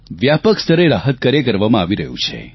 વ્યાપક સ્તરે રાહતકાર્ય કરવામાં આવી રહ્યું છે